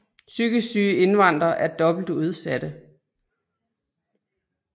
Psykisk syge indvandrere er dobbelt udsatte